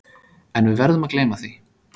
En við verðum að gleyma því.